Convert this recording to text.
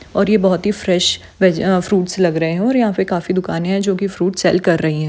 और ये बोहत ही फ्रेश वेज अ फ्रूट्स लग रही हैं और यहाँ पे काफी दुकानें हैं जो के फ्रूट सेल कर रही हैं।